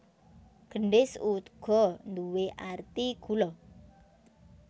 Gendhis uga nduwé arti gula